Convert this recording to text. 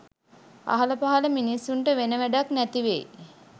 අහල පහල මිනිස්සුන්ට වෙන වැඬක් නැතිවෙයි